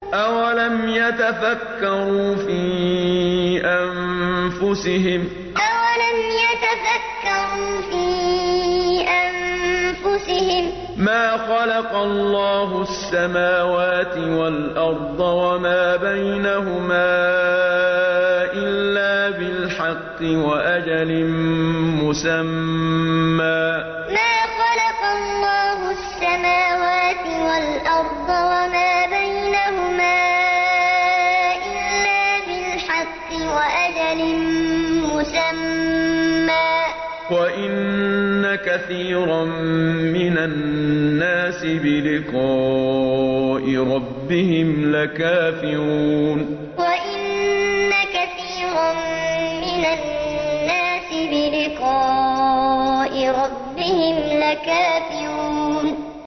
أَوَلَمْ يَتَفَكَّرُوا فِي أَنفُسِهِم ۗ مَّا خَلَقَ اللَّهُ السَّمَاوَاتِ وَالْأَرْضَ وَمَا بَيْنَهُمَا إِلَّا بِالْحَقِّ وَأَجَلٍ مُّسَمًّى ۗ وَإِنَّ كَثِيرًا مِّنَ النَّاسِ بِلِقَاءِ رَبِّهِمْ لَكَافِرُونَ أَوَلَمْ يَتَفَكَّرُوا فِي أَنفُسِهِم ۗ مَّا خَلَقَ اللَّهُ السَّمَاوَاتِ وَالْأَرْضَ وَمَا بَيْنَهُمَا إِلَّا بِالْحَقِّ وَأَجَلٍ مُّسَمًّى ۗ وَإِنَّ كَثِيرًا مِّنَ النَّاسِ بِلِقَاءِ رَبِّهِمْ لَكَافِرُونَ